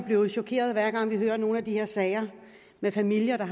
blev chokeret hver gang vi hører om nogle af de her sager med familier